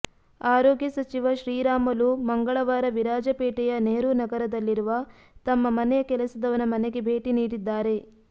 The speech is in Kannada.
ಆರೋಗ್ಯ ಸಚಿವ ಶ್ರೀರಾಮಲು ಮಂಗಳವಾರ ವಿರಾಜಪೇಟೆಯ ನೆಹರು ನಗರದಲ್ಲಿರುವ ತಮ್ಮ ಮನೆಯ ಕೆಲಸದವನ ಮನೆಗೆ ಭೇಟಿ ನೀಡಿದ್ದಾರೆ